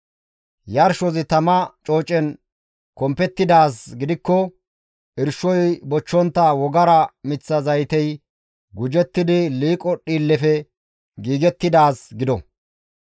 «Yarshozi tama coocen kompettidaaz gidikko irshoy bochchontta wogara miththa zaytey gujettidi liiqo dhiillefe giigettidaaz gido.